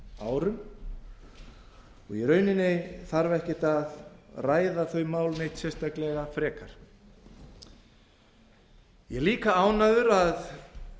árum og í rauninni þarf ekki að ræða þau mál neitt sérstaklega frekar ég er líka ánægður að